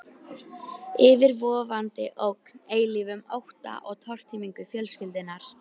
Yfirvofandi ógn, eilífum ótta um tortímingu fjölskyldunnar.